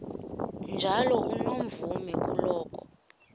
njalo unomvume kuloko